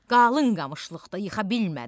Qalın qamışlıqda yıxa bilmədim.